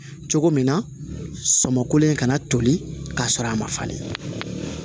Cogo min na samakolen kana toli k'a sɔrɔ a ma falen